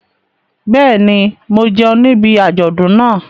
Bẹ́ẹ̀ ni, mo jẹun níbi àjọ̀dún náà.